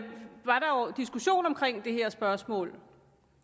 diskussion om det her spørgsmål